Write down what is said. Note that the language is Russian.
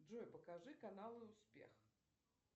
джой покажи каналы успех